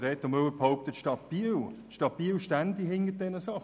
Reto Müller behauptet, die Stadt Biel stünde hinter diesen Angaben.